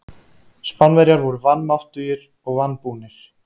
Spánverjar voru vanmáttugir og vanbúnir.